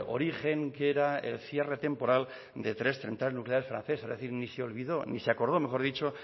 origen que era el cierre temporal de tres centrales nucleares francesas es decir ni se acordó